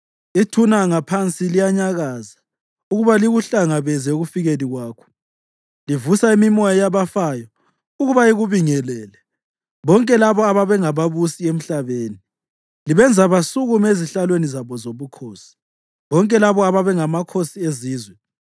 Ithuna ngaphansi liyanyakaza ukuba likuhlangabeze ekufikeni kwakho. Livusa imimoya yabafayo ukuba ikubingelele, bonke labo ababengababusi emhlabeni; libenza basukume ezihlalweni zabo zobukhosi, bonke labo ababengamakhosi ezizwe.